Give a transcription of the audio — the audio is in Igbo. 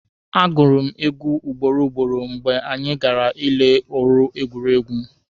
A gụrụ m egwu ugboro ugboro mgbe anyị gara ile ọrụ egwuregwu.